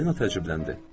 Polina təcübləndi.